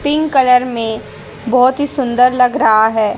Pink colour में बहोत ही सुंदर लग रहा है।